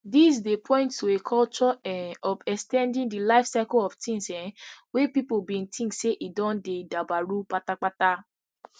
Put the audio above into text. dis dey point to a culture um of ex ten ding di lifecycle of tins um wey pipo bin think say e don dabaru patapata